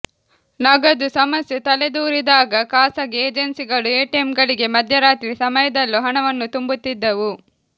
ನಗದು ಸಮಸ್ಯೆ ತಲೆದೋರಿದಾಗ ಖಾಸಗಿ ಏಜೆನ್ಸಿಗಳು ಎಟಿಎಂಗಳಿಗೆ ಮಧ್ಯರಾತ್ರಿ ಸಮಯದಲ್ಲೂ ಹಣವನ್ನು ತುಂಬುತ್ತಿದ್ದವು